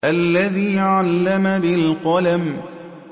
الَّذِي عَلَّمَ بِالْقَلَمِ